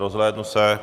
Rozhlédnu se.